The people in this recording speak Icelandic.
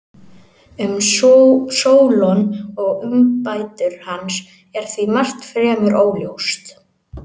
Um Sólon og umbætur hans er því margt fremur óljóst.